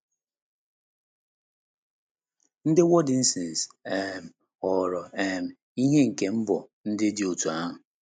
Ndị Waldenses um ghọrọ um ihe nke mbọ ndị dị otú ahụ.